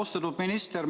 Austatud minister!